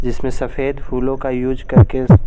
जिसमें सफेद फूलों का यूज करके--